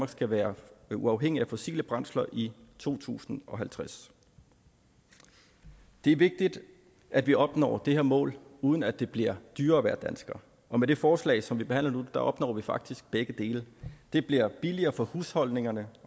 skal være uafhængig af fossile brændsler i to tusind og halvtreds det er vigtigt at vi opnår det her mål uden at det bliver dyrere at være dansker og med det forslag som vi behandler nu opnår vi faktisk begge dele det bliver billigere for husholdningerne